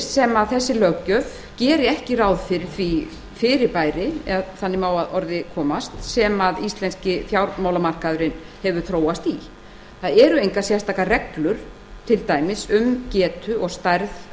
sem þessi löggjöf geri ekki ráð fyrir því fyrirbæri ef þannig má að orði komast sem íslenski fjármálamarkaðurinn hefur þróast í það eru engar sérstakar reglur til dæmis um getu og stærð